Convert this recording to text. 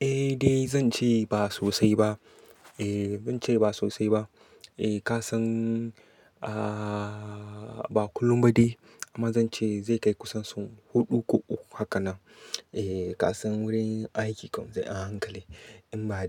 Eh, zan ce ba sosai ba. Ba kullum ba dai amma zan ce zai kai kusan sau huɗu ko uku haka na. Kasan wurin aiki kam sai a hankali in ba